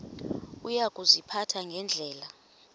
uya kuziphatha ngendlela